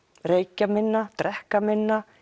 reykja minna drekka minna